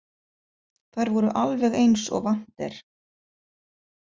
Þær voru alveg eins og vant er.